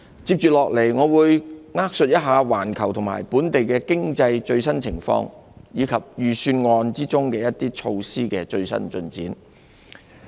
接下來，我會扼述一下環球和本地經濟的最新情況，以及預算案中一些措施的最新進展。